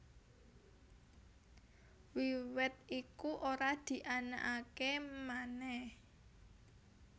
Wiwit iku ora dianakaké manèh